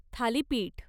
thalipeeth